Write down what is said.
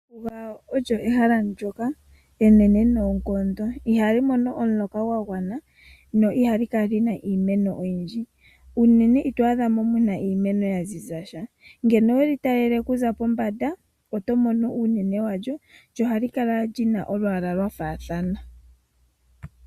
Ombuga olyo ehala ndyoka enene noonkondo, ihali mono omuloka gwa gwana no ihali kala lina iimeno oyindji, unene itwaadhamo muna iimeno yaziza sha, ngeno weli talele okuza pombanda opo to mono uunene walyo, lyo ohali kala lina olwaala lwa faathana.